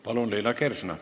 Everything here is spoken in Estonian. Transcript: Palun, Liina Kersna!